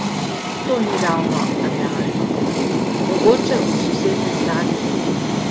To ni ravno realno, mogoče v sosednem Zagrebu.